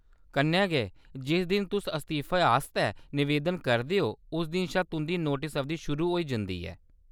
कन्नै गै, जिस दिन तुस इस्तीफे आस्तै नवेदन करदे ओ उस दिन शा तुंʼदी नोटस अवधि शुरू होई जंदी ऐ।